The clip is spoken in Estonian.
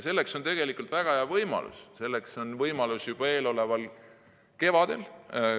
Selleks on tegelikult väga hea võimalus juba eeloleval kevadel.